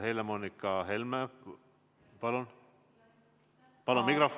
Helle-Moonika Helme, palun!